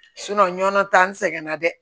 nɔnɔ ta n sɛgɛn na dɛ